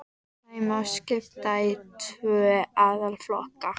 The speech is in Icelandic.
Þeim má skipta í tvo aðalflokka